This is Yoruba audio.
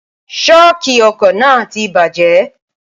ṣóòkì ọkọ̀ náà ti bajẹ́